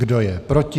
Kdo je proti?